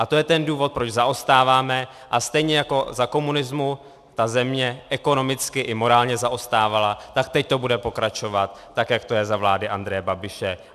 A to je ten důvod, proč zaostáváme, a stejně jako za komunismu ta země ekonomicky i morálně zaostávala, tak teď to bude pokračovat tak, jak to je za vlády Andreje Babiše.